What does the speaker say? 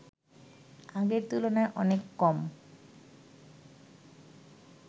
আগের তুলনায় অনেক কম